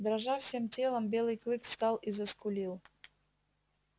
дрожа всем телом белый клык встал и заскулил